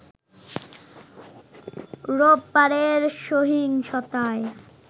রোববারের সহিংসতায়